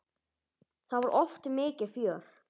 Það var oft mikið fjör.